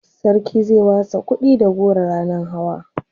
sarki zai watsa kuɗi da goro ranan hawa